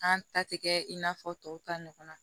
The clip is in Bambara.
An ta tɛ kɛ in n'a fɔ tɔw ta ɲɔgɔnna